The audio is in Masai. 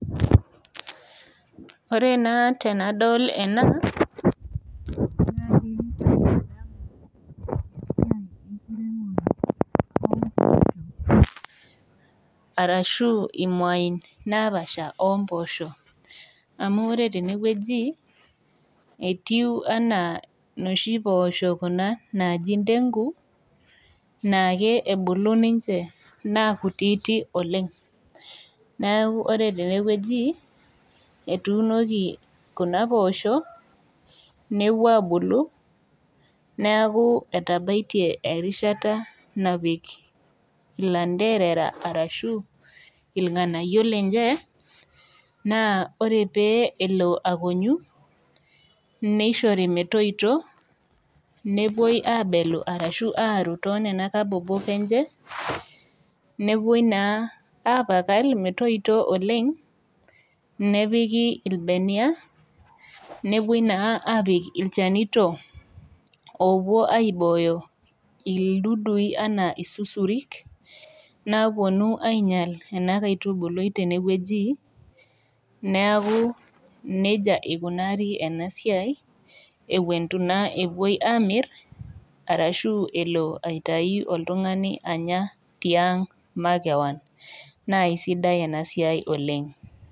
Ore naa tenadol ena, arashu imwain napaasha oompoosho, amu ore tene wueji, etiu kuna anaa nooshi poosho kuna naaji ndegu, naake ebulu ninche naa kuitik oleng', neaku ore tene wueji, etuunoki kuna poosho, nepuo aabulu, neaku etabaitie erishata napik ilanderera ashu ilng'anayio lenye, naa ore pee elo akonyu, neishori metoito, nepuoi abelu arashu aaru too nena kabobok enye nepuoi naa apakal metoito oleng', nepiki ilbenia, nepuoi naa apik ilchanito oopuo aibooyo ildudui anaa isusurik, naawuonu ainyal ena kaitubului tene wueji, neaku neija eikunaari ena siai, ewuen eitu naa epuoi aamir, arashu elo aitayu oltung'ani anyatiang', mekewon, naa aisidai ena siai oleng'.